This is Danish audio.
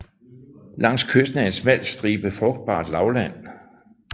Langs kysten er en smal stribe frugtbart lavland